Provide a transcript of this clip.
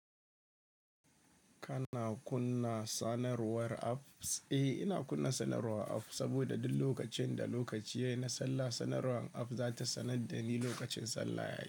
Kana kunna sanarwar apps? Eh, ina kunna sanarwar app saboda duk lokacin da lokaci yayi na sallah, sanarwar app za ta sanar da ni lokacin sallah ya yi.